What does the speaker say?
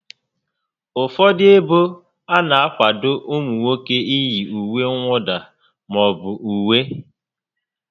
Ụfọdụ ébo ana akwado ụmụ nwoke iyi ùwé mwụda maọbụ uwe